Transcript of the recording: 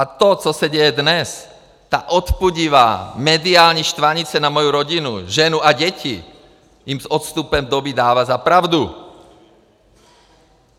A to, co se děje dnes, ta odpudivá mediální štvanice na moji rodinu, ženu a děti jim s odstupem doby dává za pravdu.